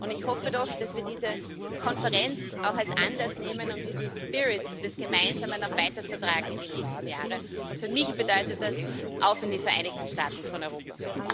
Ich hoffe doch, dass wir diese Konferenz auch als Anlass nehmen, um diesen Spirit des Gemeinsamen auch weiter zu tragen in die nächsten Jahre, und für mich bedeutet das Auf in die Vereinigten Staaten von Europa!